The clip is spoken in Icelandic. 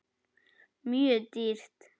Mjög dýrt.